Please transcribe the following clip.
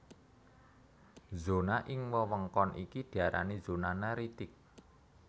Zona ing wewengkon iki diarani zona neritik